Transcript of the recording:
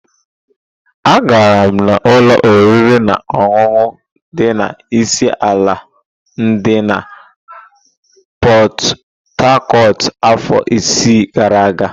Agara m ụlọ oriri na ọṅụṅụ ndi isi ala di na Pot-Tarcot afọ ise gara aga.